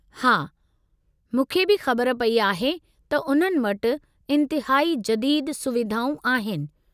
हा, मूंखे बि ख़बर पई आहे त उन्हनि वटि इंतहाई जदीदु सुविधाऊं आहिनि।